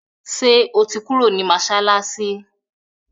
ṣe o tí Kúrò nínú masalasi?